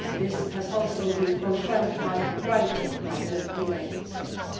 order. This has also been confirmed in writing by the United